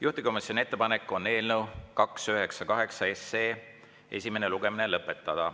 Juhtivkomisjoni ettepanek on eelnõu 298 esimene lugemine lõpetada.